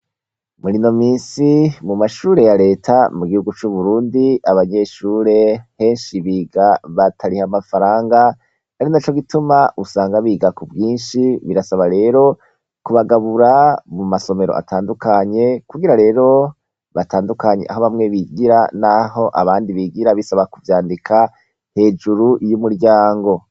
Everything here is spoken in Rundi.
Murino minsi, mumashure ya Reta mugihugu c'Uburundi, abanyeshure henshi biga batariha amafaranga, ari naco gituma usanga biga kubwinshi, birasabwa rero kubagabura, mumasomero atandukanye kugira rero batandukanye aho bamwe bigira naho abandi bigira bisaba kuvyandika hejuru y'umuryango.